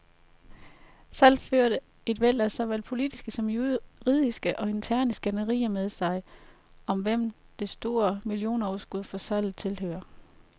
Salget førte et væld af såvel politiske som juridiske og interne skænderier med sig, om hvem det store millionoverskud fra salget tilhører.